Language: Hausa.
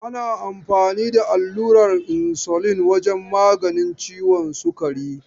Ana amfani da allurar insulin wajen maganin ciwon sukari.